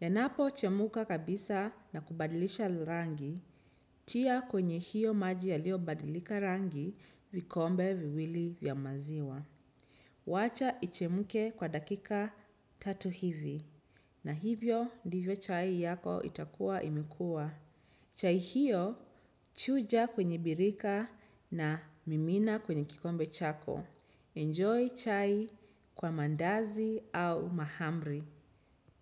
Yanapo chemuka kabisa na kubadilisha lirangi, tia kwenye hiyo maji yalio badilika rangi vikombe viwili vya maziwa. Wacha ichemuke kwa dakika tatu hivi, na hivyo ndivyo chai yako itakuwa imekuwa. Chai hiyo, chuja kwenye birika na mimina kwenye kikombe chako. Enjoy chai kwa mandazi au mahamri.